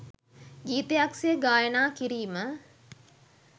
ගීතයක් සේ ගායනා කිරීම